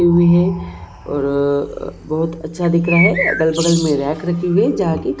और बहुत अच्छा दिख रहा है अगल बगल में रैक रखी हुई है जहां पे खाने की पदार्थ रखी--